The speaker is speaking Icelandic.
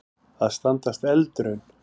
Að standast eldraun